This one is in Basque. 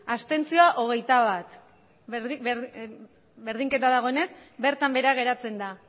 abstentzioak hogeita bat berdinketa dagoenez bertan behera geratzen da